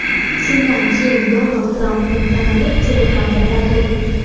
Shundan keyin Donald Trampning kanali Telegram’da paydo bo‘ldi.